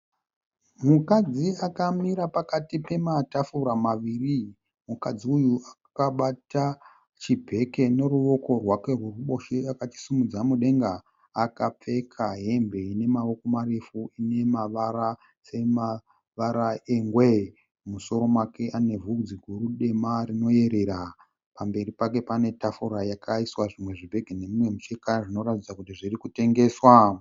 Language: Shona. Mukadzi akamira pakati pematafura maviri. Mukadzi uyu akabata chibheke neruoko rwake rweruboshwe akachisimudza mudenga. Akapfeka hembe ine maoko marefu inemavara semavara ingwe . Musoro make ane vhudzi guru dema rinoyerera. Pamberi pane tafura yakaiswa zvimwe zvibhegi nemumwe mucheka zvirikuratidza kuti zvirikutengeswa